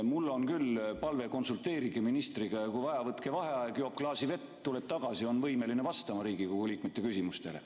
Mul on küll palve, et konsulteerige ministriga ja kui vaja, võtke vaheaeg, las joob klaasi vett, tuleb tagasi, on võimeline vastama Riigikogu liikmete küsimustele.